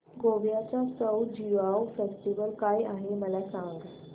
गोव्याचा सउ ज्युआउ फेस्टिवल काय आहे मला सांग